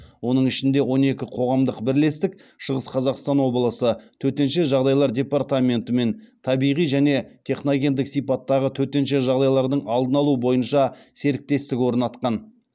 оның ішінде он екі қоғамдық бірлестік шығыс қазақстан облысы төтенше жағдайлар департаментімен табиғи және техногендік сипаттағы төтенше жағдайлардың алдын алу бойынша серіктестік орнатқан